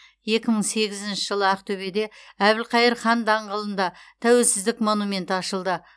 жылы ақтөбеде әбілқайыр хан даңғылында тәуелсіздік монументі ашылды